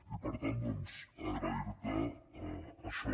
i per tant doncs agrair te això